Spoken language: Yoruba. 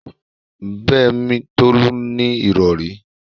Bẹ́ẹ̀mi, Tolú ní ìrọ̀rí